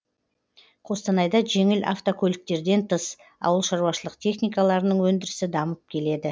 қостанайда жеңіл автокөліктерден тыс ауылшаруашылық техникаларының өндірісі дамып келеді